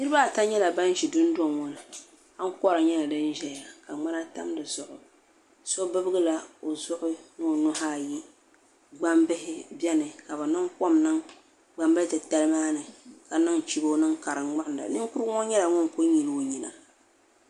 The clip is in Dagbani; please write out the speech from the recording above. Niriba ata nyɛla ban ʒi dundoŋ ŋɔ ni ankora nyɛla di ʒɛya ka ŋmana tam dizuɣu so bibgila o zuɣu ni o nuhi ayi gbambihi biɛni ka bɛ niŋ kom niŋ gbambili titali maani ka niŋ chibo niŋ ka di ŋmuɣinda Ninkurigu ŋɔ nyɛla ŋun kuli nyili o nyina.